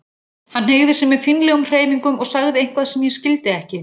Hann hneigði sig með fínlegum hreyfingum og sagði eitthvað sem ég skildi ekki.